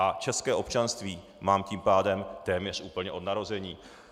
A české občanství mám tím pádem téměř úplně od narození.